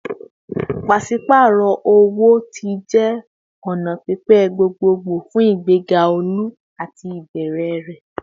Paṣipaarọ owo-owo ti jẹ ọna pipe gbogbogbo fun igbega olu lati ibẹrẹ rẹ